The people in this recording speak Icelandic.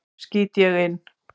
skýt ég inn.